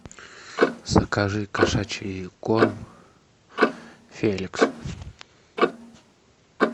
закажи кошачий корм феликс